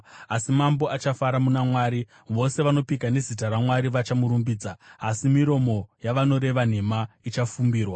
Asi mambo achafara muna Mwari; vose vanopika nezita raMwari vachamurumbidza, asi miromo yavanoreva nhema ichafumbirwa.